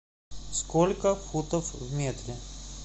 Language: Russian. сколько футов в метре